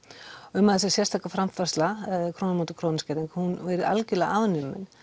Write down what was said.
um að þessi sérstaka framfærsla króna á móti krónu skerðing hún verðu algjörlega afnumin